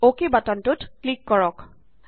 অক বাটনটোত ক্লিক কৰক